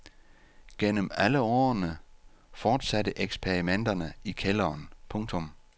Gennem alle årene fortsatte eksperimenterne i kælderen. punktum